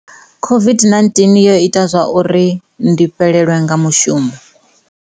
COVID-19 yo ita zwa uri ndi fhelelwe nga mushumo.